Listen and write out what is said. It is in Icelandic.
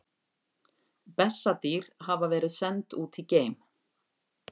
Bessadýr hafa verið send út í geim!